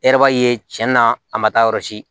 E yɛrɛ b'a ye cɛn na a ma taa yɔrɔ si